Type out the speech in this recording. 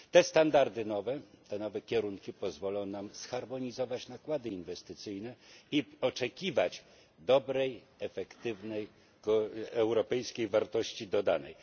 Te standardy nowe, te nowe kierunki pozwolą nam zharmonizować nakłady inwestycyjne i oczekiwać dobrej, efektywnej europejskiej wartości dodanej.